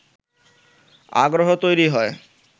আগ্রহ তৈরি হয়